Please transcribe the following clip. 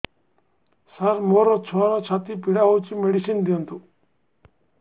ସାର ମୋର ଛୁଆର ଛାତି ପୀଡା ହଉଚି ମେଡିସିନ ଦିଅନ୍ତୁ